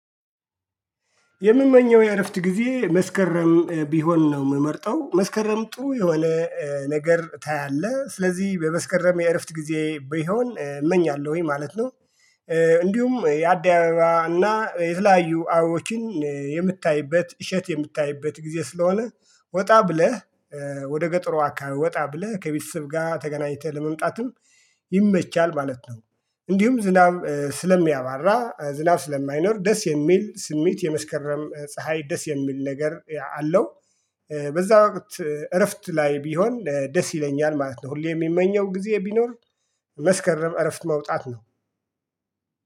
የምመኘው የእረፍት ጊዜ መስከረም ቢሆን ነው ምመርጠው መስከረም ጥሩ የሆነ ነገር ታያለህ ስለዚህ በመስክረም የእረፍት ጊዜ ቢሆን እመኛለሁኝ ማለት ነው። እንዲሁም የአደባባይ እና የተለያዩ አበቦችን የምታይበት እሸት የምታይበት ጊዜ ስለሆነ ወጣ ብለህ ወደ ገጠሮ አካባቢ ወጣ ብለህ ከቤተሰብ ጋር ተገናኝተህ ለመምጣትም ይመቻል ማለት ነው። እንዲሁም ዝናብ ስለሚያባራ ዝናብ ስለማይኖር ደስ የሚል ስሜት የመስከረም ፀሀይ ደስ የሚል ነገር አለው። በዛ ወቅት እረፍት ላይ ቢሆን ደስ ይለኛል ማለት ነው። ሁሌ የሚመኘው ጊዜ ቢኖር መስከረም እረፍት መውጣት ነው።